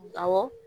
Awɔ